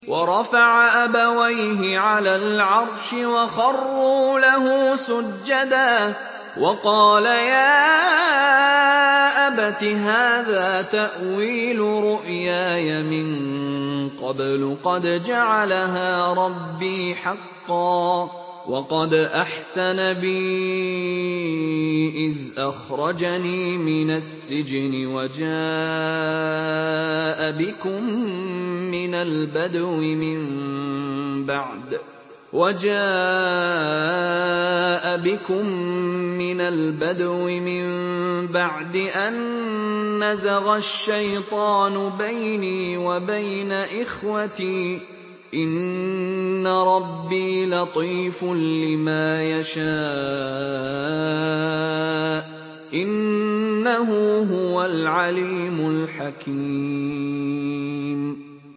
وَرَفَعَ أَبَوَيْهِ عَلَى الْعَرْشِ وَخَرُّوا لَهُ سُجَّدًا ۖ وَقَالَ يَا أَبَتِ هَٰذَا تَأْوِيلُ رُؤْيَايَ مِن قَبْلُ قَدْ جَعَلَهَا رَبِّي حَقًّا ۖ وَقَدْ أَحْسَنَ بِي إِذْ أَخْرَجَنِي مِنَ السِّجْنِ وَجَاءَ بِكُم مِّنَ الْبَدْوِ مِن بَعْدِ أَن نَّزَغَ الشَّيْطَانُ بَيْنِي وَبَيْنَ إِخْوَتِي ۚ إِنَّ رَبِّي لَطِيفٌ لِّمَا يَشَاءُ ۚ إِنَّهُ هُوَ الْعَلِيمُ الْحَكِيمُ